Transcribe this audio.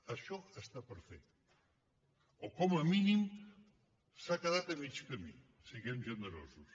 això està per fer o com a mínim s’ha quedat a mig camí siguem generosos